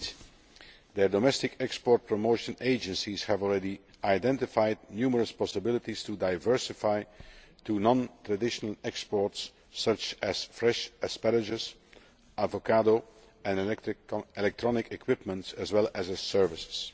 Indeed, their domestic export promotion agencies have already identified numerous possibilities to diversify to non traditional exports such as fresh asparagus, avocado, and electronic equipment, as well as services.